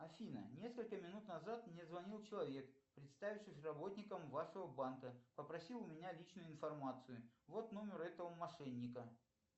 афина несколько минут назад мне звонил человек представившись работником вашего банка попросил у меня личную информацию вот номер этого мошенника